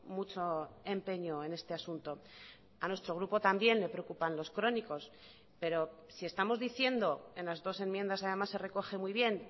mucho empeño en este asunto a nuestro grupo también le preocupan los crónicos pero si estamos diciendo en las dos enmiendas además se recoge muy bien